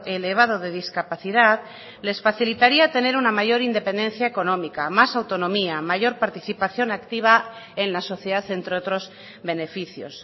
elevado de discapacidad les facilitaría tener una mayor independencia económica más autonomía mayor participación activa en la sociedad entre otros beneficios